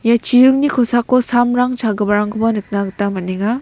ia chiringni kosako samrang chagiparangkoba nikna gita man·enga.